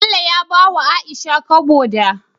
Bello ya bawa aisha kobo da